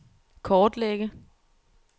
kortlægge